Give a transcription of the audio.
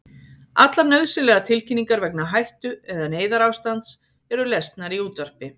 Allar nauðsynlegar tilkynningar vegna hættu- eða neyðarástands eru lesnar í útvarpi.